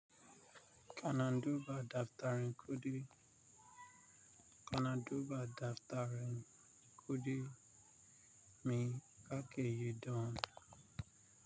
Kana duba daftarin kuɗi, kana duba daftarin kuɗi me ka ke yi don?